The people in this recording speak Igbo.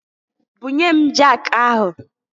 Bunye m jakụ ahụ!